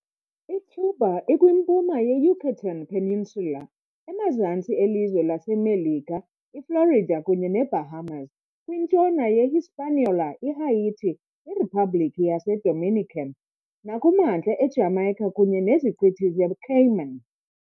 ICuba ikwimpuma yeYucatán Peninsula, emazantsi elizwe laseMelika iFlorida kunye neBahamas, kwintshona ye-Hispaniola, iHaiti - iRiphabhlikhi yaseDominican, nakumantla eJamaica kunye neZiqithi zeCayman.